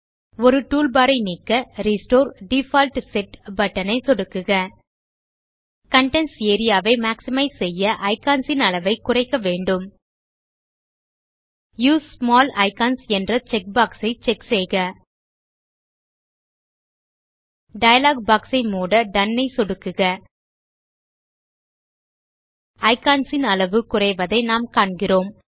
ஒரு டூல்பார் ஐ நீக்க ரெஸ்டோர் டிஃபால்ட் செட் பட்டன் ஐ சொடுக்குக கன்டென்ட்ஸ் ஏரியா ஐ மேக்ஸிமைஸ் செய்ய ஐகன்ஸ் ன் அளவைக் குறைக்க முடியும் யூஎஸ்இ ஸ்மால் ஐகன்ஸ் என்ற செக் பாக்ஸ் ஐ செக் செய்க டயலாக் பாக்ஸ் ஐ மூட டோன் ஐ சொடுக்குக ஐகன்ஸ் ன் அளவு குறைவதை நாம் காண்கிறோம்